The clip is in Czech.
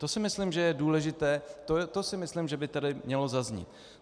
To si myslím, že je důležité, to si myslím, že by tady mělo zaznít.